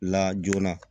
La joona